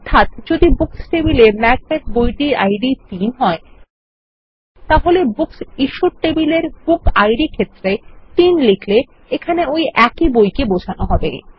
অর্থাত যদি বুকস টেবিলে ম্যাকবেথ বইটির আইডি ৩ হয় তাহলে বুকস ইশ্যুড টেবিলের বুক ইদ ক্ষেত্রে ৩ লিখলে এখনো ওই একই বই কে বোঝানো হবে